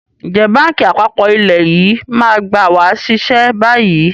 Ǹjẹ́ báńkì àpapọ̀ ilẹ̀ yìí máa gba wa ṣiṣẹ́ bayyi?